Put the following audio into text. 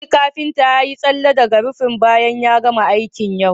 Audu kafinta ya yi tsalle daga rufin bayan ya gama aiki yau